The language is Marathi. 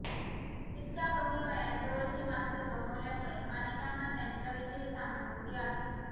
इतक्या कमी वयात जवळची माणसं गमावल्यामुळे अनेकांना त्यांच्याविषयी सहानुभूती आहे